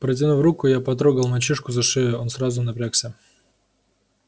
протянув руку я потрогал мальчишку за шею он сразу напрягся